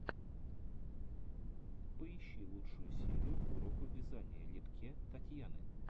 поищи лучшую серию уроков вязания литке татьяны